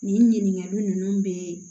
Nin ɲininkali ninnu bɛ